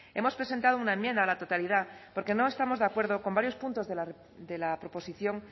hemos presentado una enmienda a la totalidad porque no estamos de acuerdo con varios puntos de la proposición